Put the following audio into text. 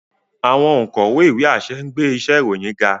Awọn onkọwe iwe-aṣẹ ngbe iṣe iroyin ga.